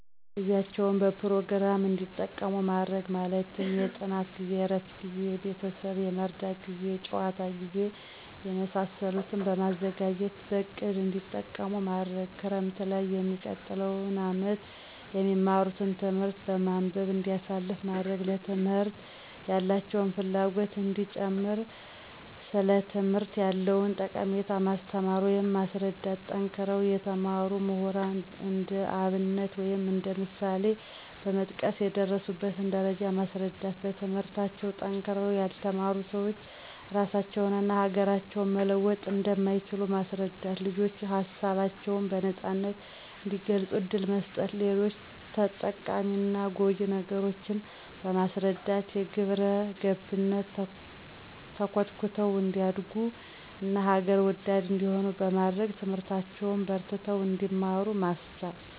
ጊዜያቸዉን በፕሮግራም እዲጠቀሙ ማድረግ። ማለትም የጥናት ጊዜ፣ የእረፍት ጊዜ፣ ቤተሰብ የመርዳት ጊዜ፣ የጨዋታ ጊዜ፣ የመሳሰሉትን በማዘጋጀትበእቅድ እንዲጠቀሙማድረግ። 2)ክረምትላይ የሚቀጥለዉን አመት የሚማትን ትምህርት በማንበብ እንዲያሳልፉ ማድረግ። 3)ለትምህርት ያላቸውን ፍላጎት እንዲጨምር ሥለትምህርት ያለዉንጠቀሜታ ማስተማር ወይም ማስረዳት። ጠንክረው የተማሩ ምሁራን እንደአብነት ወይም እንደ ምሳሌበመጥቀስ የደረሱበትን ደረጃ ማስረዳት። 4)በትምህርታቸዉ ጠንክረዉ ያልተማሩ ስዎች ራሳቸውን እና ሀገራቸውን መለወጥ እንደማይችሉ ማስረዳት። ልጆች ሀሳባቸውን በነጻነት እንዲገልጹ እድል መስጠት። ሌጆች ጠቃሚና ጎጅ ነገሮችን በማስረዳት በግብረገብነት ተኮትኩተው እንዲያደርጉ ና ሀገር ወዳድ እንዲሆኑ በማድረግ ትምህርታቸዉን በርትተው እንዲማሩ ማስቻል።